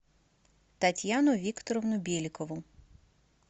татьяну викторовну беликову